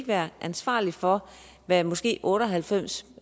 være ansvarlig for hvad måske otte og halvfems